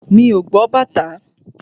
Mi ò gbọ́ bàtá.